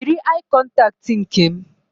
Yiri aị kọntaktị nke m